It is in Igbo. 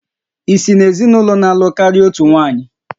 Ị si n'ezinụlọ na-alụ karịa otu nwanyị?